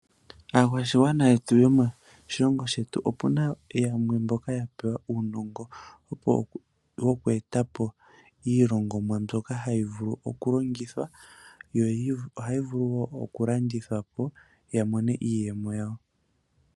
Aakwashigwana yomoshilongo shetu opu na yamwe mboka ye na uunongo woku eta po iilongomwa mbyono hayi vulu oku landithwa, yo ya mone mo iiyemo yawo.